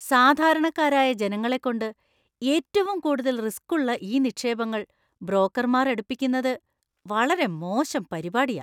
സാധാരണക്കാരായ ജനങ്ങളെക്കൊണ്ട് ഏറ്റവും കൂടുതൽ റിസ്ക്കുള്ള ഈ നിക്ഷേപങ്ങൾ ബ്രോക്കർമാർ എടുപ്പിക്കുന്നത് വളരെ മോശം പരിപാടിയാ.